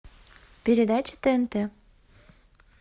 передача тнт